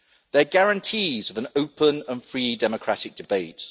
They are guarantees of an open and free democratic debate.